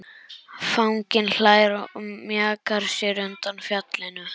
Fanginn hlær og mjakar sér undan fjallinu.